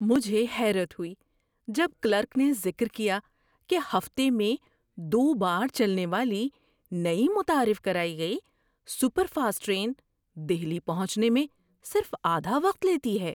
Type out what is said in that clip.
مجھے حیرت ہوئی جب کلرک نے ذکر کیا کہ ہفتے میں دو بار چلنے والی، نئی متعارف کرائی گئی سپر فاسٹ ٹرین دہلی پہنچنے میں صرف آدھا وقت لیتی ہے!